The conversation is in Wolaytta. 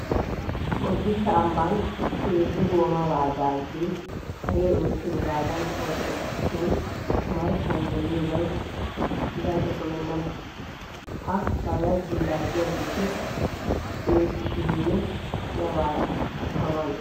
Bodditte ambban 3 gooma baajaajee haree oottiyogaadan ootteesi shin omarssan demmiyobay gaco kumenna. Ha baajaajiyo laaggiyageeti deshishiininne asi awaara kattaa maanee!